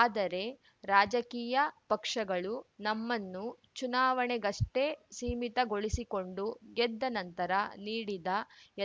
ಆದರೆ ರಾಜಕೀಯ ಪಕ್ಷಗಳು ನಮ್ಮನ್ನು ಚುನಾವಣೆಗಷ್ಟೇ ಸೀಮಿತಗೊಳಿಸಿಕೊಂಡು ಗೆದ್ದ ನಂತರ ನೀಡಿದ